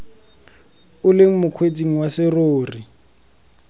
o le mokgweetsi wa serori